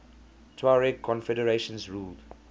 tuareg confederations ruled